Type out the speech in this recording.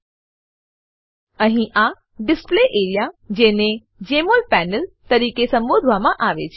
અહીં આ છે ડિસ્પ્લે એઆરઇએ ડિસ્પ્લે એરિયા જેને જમોલ પેનલ જેમોલ પેનલ તરીકે સંબોધવામાં આવે છે